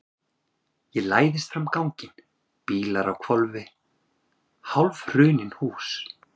Ég læðist fram ganginn, bílar á hvolfi, hálfhrunin hús.